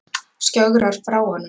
Skjögrar frá honum.